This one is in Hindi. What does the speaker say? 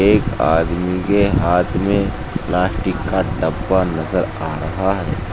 एक आदमी के हाथ में प्लास्टिक का डब्बा नजर आ है।